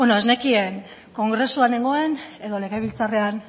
bueno ez nekien kongresuan nengoen edo legebiltzarrean